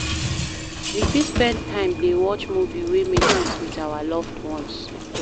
We fit spend time dey watch movie wey make sense with our loved ones